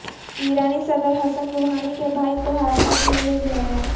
ایرانی صدر Hassan Rouhani کے بھائی کو حراست میں لے لیا گیا